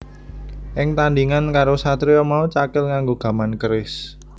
Ing tandhingan karo satriya mau Cakil nganggo gaman keris